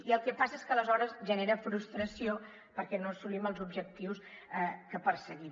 i el que passa és que aleshores genera frustració perquè no assolim els objectius que perseguim